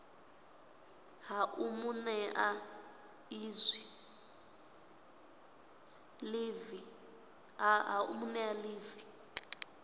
ha u mu nea ḽivi